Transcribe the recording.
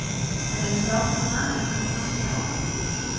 En eru strákarnir vanir að koma fram fyrir áhorfendur?